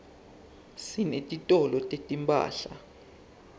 sinetitolo setimphahla